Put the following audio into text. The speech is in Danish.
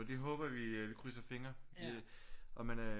Det håber vi vi krydser fingre og man er